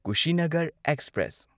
Kushinagar express